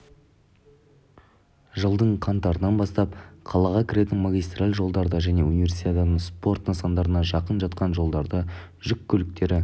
жылдың қаңтарынан бастап қалаға кіретін магистраль жолдарда және универсиаданың спорт нысандарына жақын жатқан жолдарда жүк көліктері